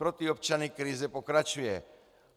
Pro ty občany krize pokračuje.